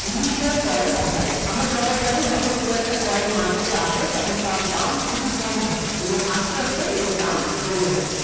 Initial Coin Offering । আমরা সবাই জানি যখন কোন একটা coin market এ আসে তখন তার দাম খুবি কম থাকে পরে আস্তে আস্তে এর দাম বেরে যায়।